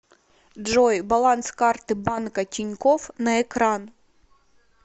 джой баланс карты банка тинькофф на экран